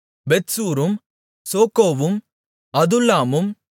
பெத்சூரும் சோக்கோவும் அதுல்லாமும்